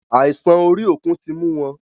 Àìsàn orí òkun tí mú wọn.